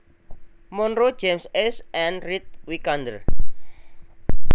Monroe James S and Reed Wicander